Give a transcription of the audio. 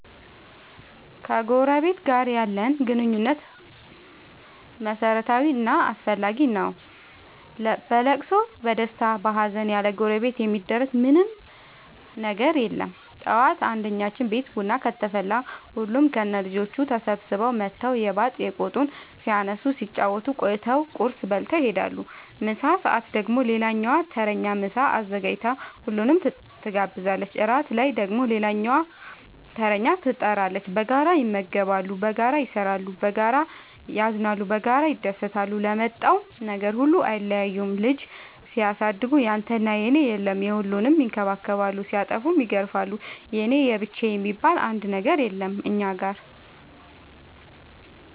ከጎረበት ጋር ያለን ግንኙነት መረታዊ እና አስፈላጊ ነገር ነው። በለቅሶ በደስታ በሀዘን ያለጎረቤት የሚደረግ ምን ምንም ነገር የለም ጠዋት አንድኛችን ቤት ቡና ከተፈላ ሁሉም ከነ ልጆቹ ተሰብስበው መተው የባጥ የቆጡን ሲያነሱ ሲጫወቱ ቆይተው ቁርስ በልተው ይሄዳሉ። ምሳ ሰአት ደግሞ ሌላኛዋ ተረኛ ምሳ አዘጋጅታ ሁሉንም ትጋብዛለች። እራት ላይ ደግሞ ሌላኛዋተረኛ ትጣራለች። በጋራ ይመገባሉ በጋራ ይሰራሉ። በጋራ ያዝናሉ በጋራ ይደሰታሉ ለመጣው ነገር ሁሉ አይለያዩም ልጅ ሲያሳድጉ ያንተና የኔ የለም የሁሉንም ይከባከባሉ ሲጠፉም ይገርፋሉ የኔ የብቻዬ የሚባል አንድም ነገር የለም እኛ ጋር።